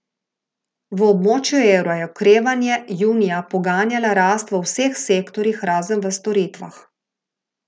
V območju evra je okrevanje junija poganjala rast v vseh sektorjih, razen v storitvah.